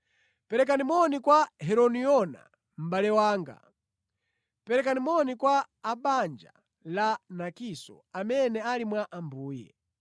Perekani moni kwa Herodiona, mʼbale wanga. Perekani moni kwa a mʼbanja la Narkiso amene ali mwa Ambuye.